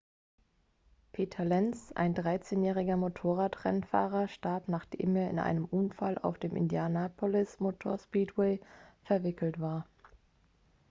peter lenz ein 13-jähriger motorradrennfahrer starb nachdem er in einen unfall auf dem indianapolis motor speedway verwickelt war